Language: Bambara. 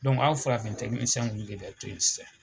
aw farafin de bɛ to yen sisan.